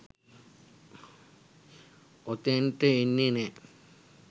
ඔතෙන්ට එන්නේ නෑ.